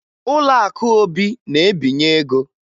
Ụlọakụ Obi na-ebinye ego